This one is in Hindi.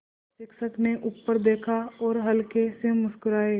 शिक्षक ने ऊपर देखा और हल्के से मुस्कराये